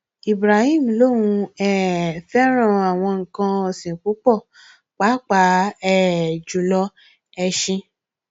ibrahim lóun um fẹràn àwọn nǹkan ọsìn púpọ pàápàá um jù lọ ẹsìn